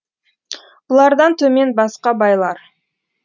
бұлардан төмен басқа байлар